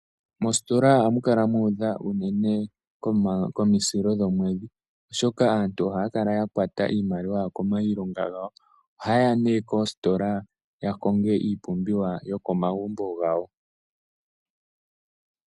Mositola ohamu kala mu udha unene komusilo gwomwedhi, oshoka aantu ohaya kala yakwata iimaliwa yawo kiilongo yawo. Ohayeya nee koositola opo yakonge iipumbiwa yokomagumbo gawo.